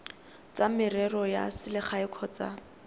tsa merero ya selegae kgotsa